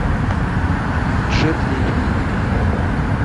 джет ли